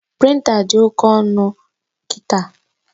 Prịnta dị oke ọnụ kịta